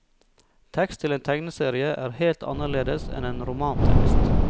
Tekst til en tegneserie er helt annerledes enn en romantekst.